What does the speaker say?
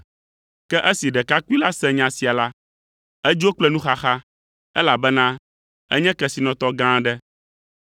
Ke esi ɖekakpui la se nya sia la, edzo kple nuxaxa, elabena enye kesinɔtɔ gã aɖe.